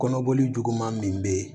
Kɔnɔboli juguman min be yen